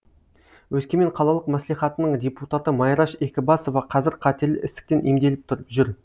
өскемен қалалық мәслихатының депутаты майраш екібасова қазір қатерлі ісіктен емделіп жүр